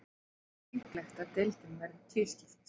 Ég tel líklegt að deildin verði tvískipt.